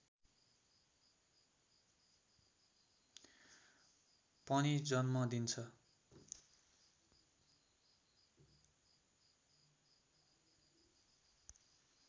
पनि जन्म दिन्छ